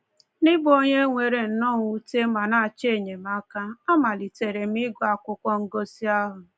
N’ịbụ onye nwere nnọọ mwute ma na-achọ enyemaka, amalitere m ịgụ akwụkwọ ngosị ahụ.